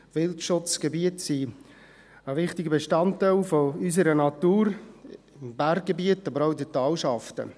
Die Wildschutzgebiete sind ein wichtiger Bestandteil unserer Natur, im Berggebiet, aber auch in den Talschaften.